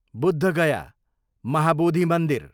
बुद्ध गया, महाबोधी मन्दिर